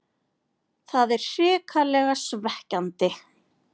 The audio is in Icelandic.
Það er hrikalega svekkjandi.